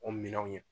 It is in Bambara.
O minɛnw ye